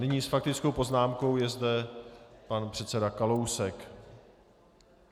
Nyní s faktickou poznámkou je zde pan předseda Kalousek.